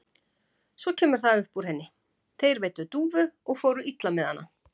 Svo kemur það upp úr henni: Þeir veiddu dúfu og fóru illa með hana.